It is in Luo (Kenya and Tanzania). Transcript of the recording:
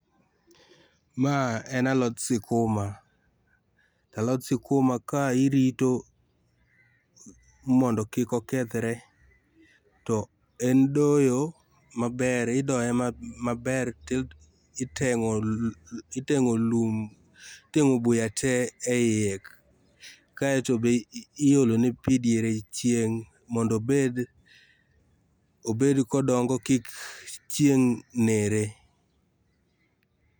Ma en alot sikuma, to alot sikuma ka irito mondo kik okethre, to en doyo maber, idoe maber to iteng'o iteng'o lum, iteng'o buya tee e iye. Kaeto be iolo ne pii diere chieng' mondo obed obed kodongo, kik chieng' nere.